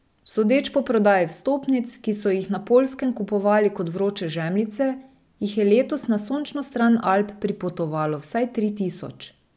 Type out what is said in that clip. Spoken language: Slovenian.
Sodeč po prodaji vstopnic, ki so jih na Poljskem kupovali kot vroče žemljice, jih je letos na sončno stran Alp pripotovalo vsaj tri tisoč.